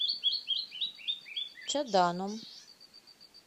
чаданом